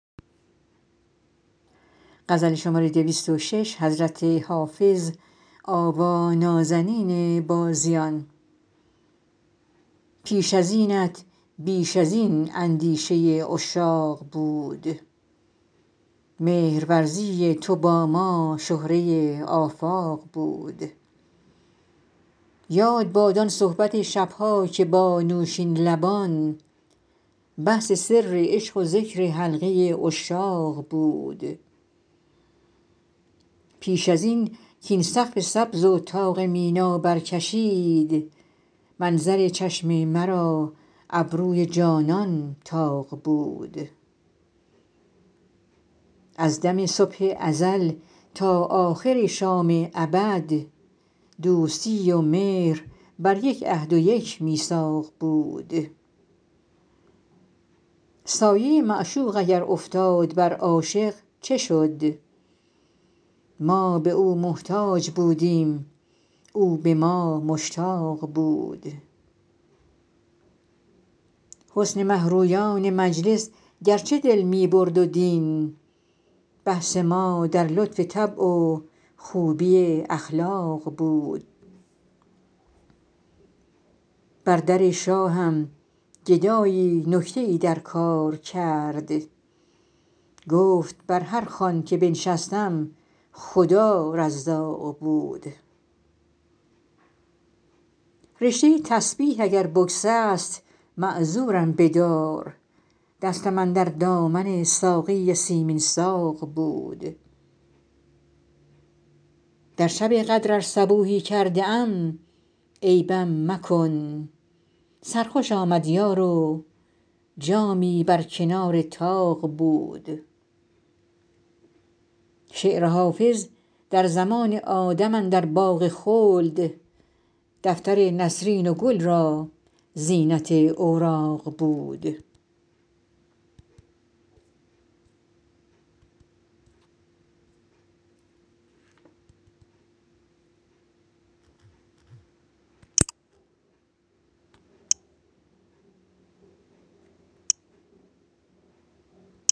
پیش از اینت بیش از این اندیشه عشاق بود مهرورزی تو با ما شهره آفاق بود یاد باد آن صحبت شب ها که با نوشین لبان بحث سر عشق و ذکر حلقه عشاق بود پیش از این کاین سقف سبز و طاق مینا برکشند منظر چشم مرا ابروی جانان طاق بود از دم صبح ازل تا آخر شام ابد دوستی و مهر بر یک عهد و یک میثاق بود سایه معشوق اگر افتاد بر عاشق چه شد ما به او محتاج بودیم او به ما مشتاق بود حسن مه رویان مجلس گرچه دل می برد و دین بحث ما در لطف طبع و خوبی اخلاق بود بر در شاهم گدایی نکته ای در کار کرد گفت بر هر خوان که بنشستم خدا رزاق بود رشته تسبیح اگر بگسست معذورم بدار دستم اندر دامن ساقی سیمین ساق بود در شب قدر ار صبوحی کرده ام عیبم مکن سرخوش آمد یار و جامی بر کنار طاق بود شعر حافظ در زمان آدم اندر باغ خلد دفتر نسرین و گل را زینت اوراق بود